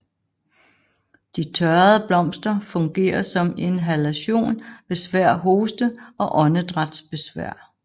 De tørrede blomster fungerer som inhalation ved svær hoste og åndedrætsbesvær